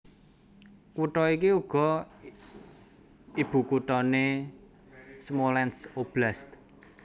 Kutha iki uga ibukuthané Smolensk Oblast